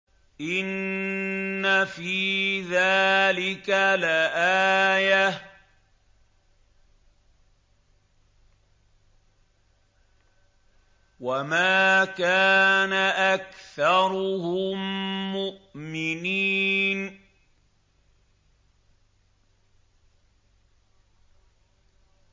إِنَّ فِي ذَٰلِكَ لَآيَةً ۖ وَمَا كَانَ أَكْثَرُهُم مُّؤْمِنِينَ